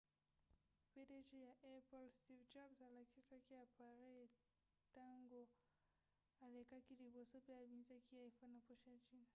pdg ya apple steve jobs alakisaki apareyi ntango alekaki liboso pe abimisaki l'iphone na poche ya jean